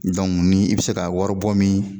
Don n'i bɛ se ka waribɔ min